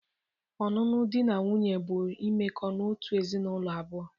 Ọṅụṅụ dị na nwunye bụ imeko n'otu ezinaụlọ abụọ.